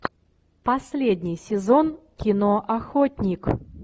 последний сезон кино охотник